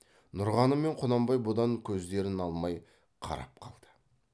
нұрғаным мен құнанбай бұдан көздерін алмай қарап қалды